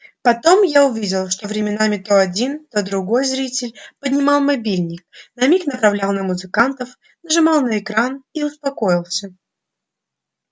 потом я увидел что временами то один то другой зритель поднимал мобильник на миг направлял на музыкантов нажимал на экран и успокоился